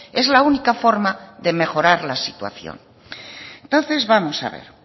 es la única forma de mejorar la situación entonces vamos a ver